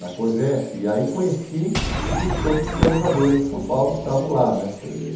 na COGEP, e aí conheci os todos os planejadores de São Paulo que estavam lá né